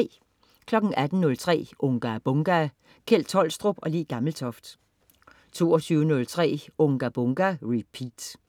18.03 Unga Bunga! Kjeld Tolstrup og Le Gammeltoft 22.03 Unga Bunga! Repeat